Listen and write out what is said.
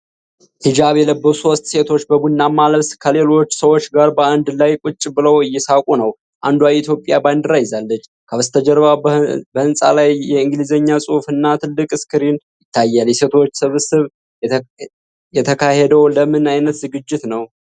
ሂጃብ የለበሱ ሶስት ሴቶች በቡናማ ልብስ ከሌሎች ሰዎች ጋር በአንድ ላይ ቁጭ ብለው እየሳቁ ነው። አንዷ የኢትዮጵያን ባንዲራ ይዛለች። ከበስተጀርባ በህንፃ ላይ የእንግሊዝኛ ጽሁፍ እና ትልቅ ስክሪን ይታያል። የሴቶቹ ሰብሰባ የተካሄደው ለምን ዓይነት ዝግጅት ነው?